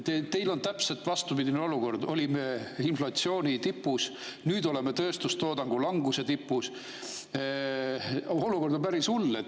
Teil on täpselt vastupidine olukord: olime inflatsiooni tipus, nüüd oleme tööstustoodangu languse tipus – olukord on päris hull.